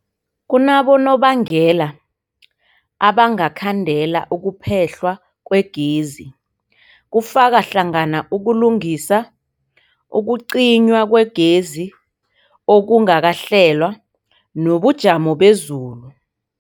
Kunabonobangela abangakhandela ukuphehlwa kwegezi, kufaka hlangana ukulungisa, ukucinywa kwegezi okungakahlelwa, nobujamo bezulu.